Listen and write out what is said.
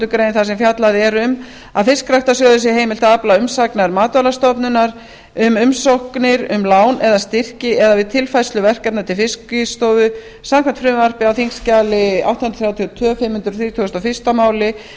greinar þar sem fjallað er um að fiskræktarsjóði sé heimilt að afla umsagnar matvælastofnunar um umsóknir um lán eða styrki en við tilfærslu verkefna til fiskistofu samkvæmt frumvarpi á þingskjali átta hundruð þrjátíu og tvö fimm hundruð þrítugustu og fyrsta máli